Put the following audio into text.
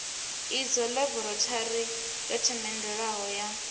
idzwo ḽaborathori yo themendelwaho ya